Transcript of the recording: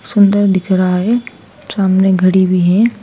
सुंदर दिख रहा है सामने घड़ी भी है।